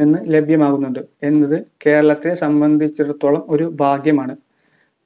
നിന്ന് ലഭ്യമാകുന്നുണ്ട് എന്നത് കേരളത്തിനെ സംബന്ധിച്ചിടത്തോളം ഒരു ഭാഗ്യമാണ്